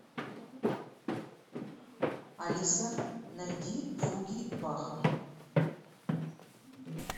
алиса найди фуги баха